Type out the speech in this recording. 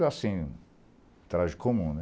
assim, traje comum, né?